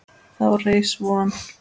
Þá reis von